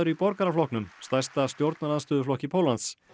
í Borgaraflokknum stærsta stjórnarandstöðuflokki Póllands